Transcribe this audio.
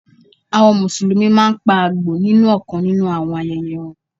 Àwọn Mùsùlùmí máa ń pa Àgbò nínú ọ̀kan nínú àwọn ayẹyẹ wọn.